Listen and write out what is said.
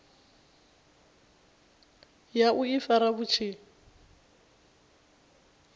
ya u ifara vhu tshi